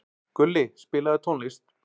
Gulli, spilaðu tónlist.